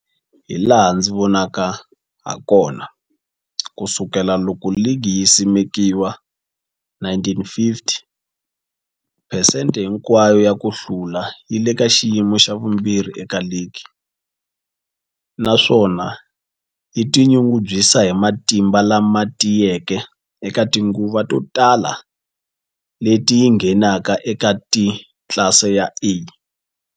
Hilaha ndzi nga vona hakona, ku sukela loko ligi yi simekiwile, 1950, phesente hinkwayo ya ku hlula yi le ka xiyimo xa vumbirhi eka ligi, naswona yi tinyungubyisa hi matimba lama tiyeke eka tinguva to tala leti yi ngheneke eka tlilasi ya A.